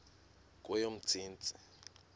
kweyomntsintsi